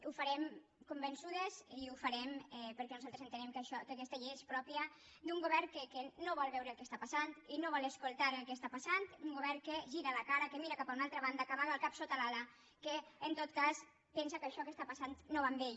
ho farem convençudes i ho farem perquè nosaltres entenem que aquesta llei és pròpia d’un govern que no vol veure el que està passant i no vol escoltar el que està passant un govern que gira la cara que mira cap a una altra banda que amaga el cap sota l’ala que en tot cas pensa que això que està passant no va amb ell